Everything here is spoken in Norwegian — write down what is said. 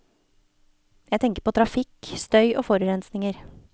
Jeg tenker på trafikk, støy og forurensninger.